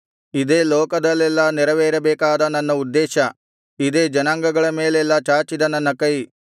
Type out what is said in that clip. ಇದೇ ಲೋಕದಲ್ಲೆಲ್ಲಾ ನೆರವೇರಬೇಕಾದ ನನ್ನ ಉದ್ದೇಶ ಇದೇ ಜನಾಂಗಗಳ ಮೇಲೆಲ್ಲಾ ಚಾಚಿದ ನನ್ನ ಕೈ